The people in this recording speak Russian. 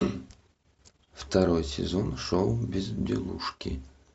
второй сезон шоу безделушки